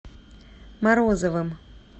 морозовым